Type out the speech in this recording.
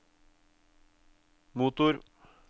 motor